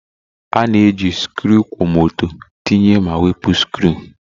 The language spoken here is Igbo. A na-eji sikruuokwomoto tinye ma wepụ sikruu